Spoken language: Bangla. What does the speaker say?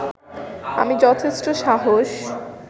আমি যথেষ্ট সাহস